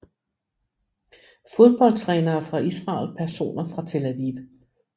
Fodboldtrænere fra Israel Personer fra Tel Aviv